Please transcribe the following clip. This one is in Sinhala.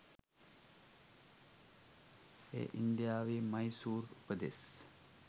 එය ඉන්දියාවේ මයිසූර් පෙදෙස්